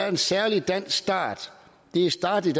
en særlig dansk start det startede